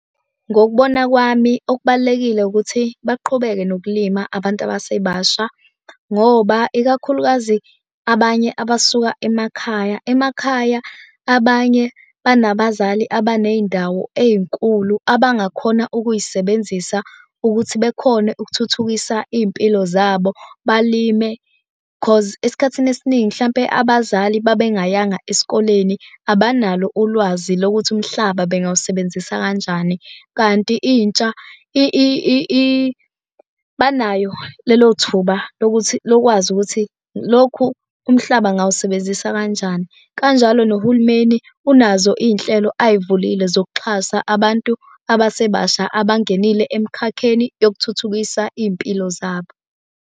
Ngokubona kwami okubalulekile ukuthi baqhubeke nokulima abantu abasebasha ngoba ikakhulukazi abanye abasuka emakhaya. Emakhaya abanye banabazali abaney'ndawo ey'nkulu abangakhona ukuy'sebenzisa ukuthi bekhone ukuthuthukisa iy'mpilo zabo. Balime, cause esikhathini esiningi hlampe abazali babengayanga esikoleni abanalo ulwazi lokuthi umhlaba bengawusebenzisa kanjani, kanti intsha banayo lelo thuba lokuthi lokwazi ukuthi lokhu umhlaba ngingawusebenzisa kanjani. Kanjalo nohulumeni unazo iy'nhlelo ay'vulile zokuxhasa abantu abasebasha abangenile emkhakheni yokuthuthukisa iy'mpilo zabo.